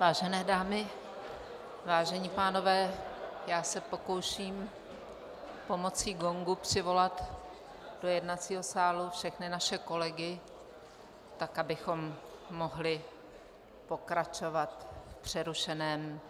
Vážené dámy, vážení pánové, já se pokouším pomocí gongu přivolat do jednacího sálu všechny naše kolegy, tak abychom mohli pokračovat v přerušeném